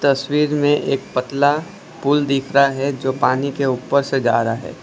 तस्वीर में एक पतला पूल दिख रहा है जो पानी के ऊपर से जा रहा है।